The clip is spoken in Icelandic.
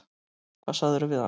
Hvað sagðirðu við hana?